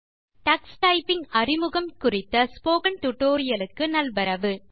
introduction to Tux typing குறித்த spoken tutorial க்கு நல்வரவு